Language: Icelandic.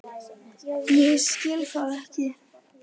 Ég skil það ekki.